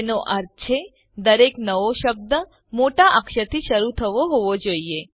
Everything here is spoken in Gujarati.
જેનો અર્થ છે દરેક નવો શબ્દ મોટા અક્ષરથી શરૂ થતો હોવો જોઈએ